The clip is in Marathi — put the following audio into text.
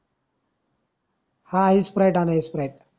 हा इस स्प्राईट आणा स्प्राईट